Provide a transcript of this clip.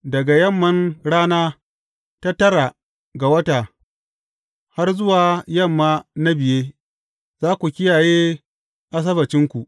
Daga yamman rana ta tara ga wata, har zuwa yamma na biye, za ku kiyaye Asabbacinku.